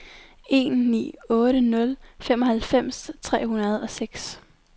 en ni otte nul femoghalvfems tre hundrede og seks